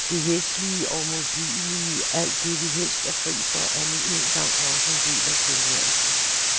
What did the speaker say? Det hæslige og modbydelige, alt det vi helst er fri for, er nu engang også en del af tilværelsen.